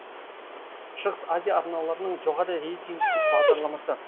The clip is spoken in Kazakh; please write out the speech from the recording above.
шығыс азия арналарының жоғары рейтингтік бағдарламасы